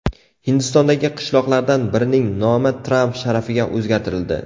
Hindistondagi qishloqlardan birining nomi Tramp sharafiga o‘zgartirildi.